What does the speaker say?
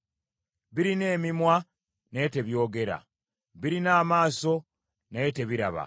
birina emimwa, naye tebyogera; birina amaaso, naye tebiraba;